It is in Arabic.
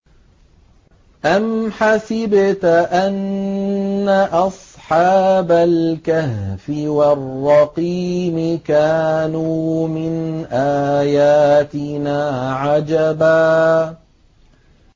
أَمْ حَسِبْتَ أَنَّ أَصْحَابَ الْكَهْفِ وَالرَّقِيمِ كَانُوا مِنْ آيَاتِنَا عَجَبًا